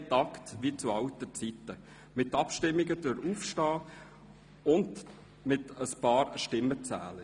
Wir tagten, wie in alten Zeiten, mit Abstimmungen durch Aufstehen und mithilfe einiger Stimmenzähler.